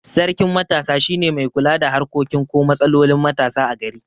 Sarkin matasa shine mai kula da harkokin ko matsalolin matasa a gari